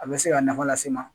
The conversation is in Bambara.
A bɛ se ka nafa lase n ma